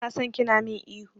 Bana son kina min ihu.